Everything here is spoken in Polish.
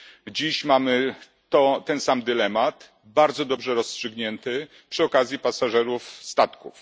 Dziś mamy ten sam dylemat bardzo dobrze rozstrzygnięty przy okazji pasażerów statków.